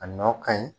A nɔ ka ɲi